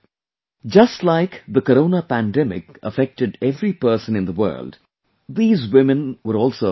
Just like the Corona pandemic affected every person in the world, these women were also affected